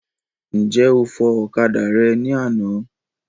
Ǹjẹ́ o fọ okada rẹ ní àná.